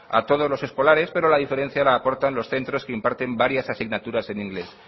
a todos los escolares pero la diferencia la aportan los centros que imparten varias asignaturas en inglés